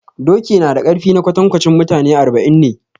Doki nada ƙarfi na kwantankwanci mutane arba'in ne